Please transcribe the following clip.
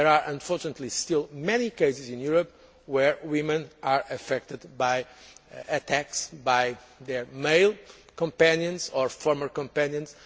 Unfortunately, there are still many cases in Europe where women are affected by attacks by their male companions or former companions.